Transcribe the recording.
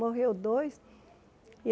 Morreu dois.